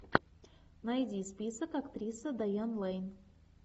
найди список актриса дайан лэйн